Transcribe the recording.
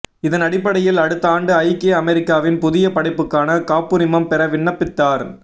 இதன் அடிப்படையில் அடுத்த ஆண்டு ஐக்கிய அமெரிக்காவின் புதிய படைப்புக்கான காப்புரிமம் பெற விண்ணப்பித்தார்